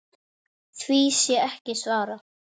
Því sé ekki svarað.